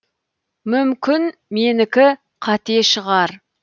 мүмкін менікі қате шығар